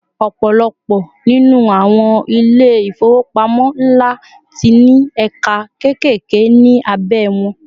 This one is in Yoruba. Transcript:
ọpọlọpọ ninu àwọn ilé ifowopamọ nla ti ní ẹka kekeke ni abe won